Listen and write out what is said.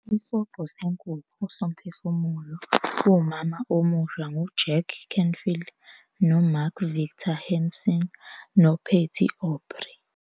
Isobho Senkukhu Somphefumulo Womama Omusha nguJack Canfield noMark Victor Hansen noPatty Aubery